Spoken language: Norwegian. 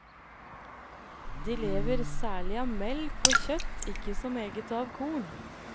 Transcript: De lever særlig av melk og kjøtt, ikke så meget av korn.